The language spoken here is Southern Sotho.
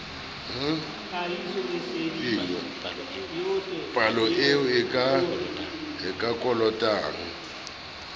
palo eo a e kolotang